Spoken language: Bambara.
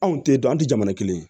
Anw tɛ dɔn an tɛ jamana kelen ye